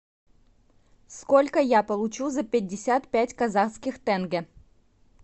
сколько я получу за пятьдесят пять казахских тенге